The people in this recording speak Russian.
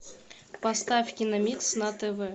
поставь киномикс на тв